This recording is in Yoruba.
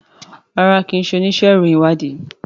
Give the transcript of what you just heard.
rárá kín ṣe onísé ìròyìn ìwádìí.